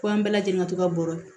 Kɔ an bɛɛ lajɛlen ka to ka bɔrɔ